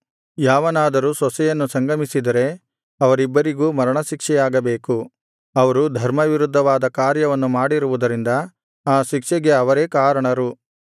ಯಾವನಾದರೂ ಸೊಸೆಯನ್ನು ಸಂಗಮಿಸಿದರೆ ಅವರಿಬ್ಬರಿಗೂ ಮರಣಶಿಕ್ಷೆಯಾಗಬೇಕು ಅವರು ಧರ್ಮವಿರುದ್ಧವಾದ ಕಾರ್ಯವನ್ನು ಮಾಡಿರುವುದರಿಂದ ಆ ಶಿಕ್ಷೆಗೆ ಅವರೇ ಕಾರಣರು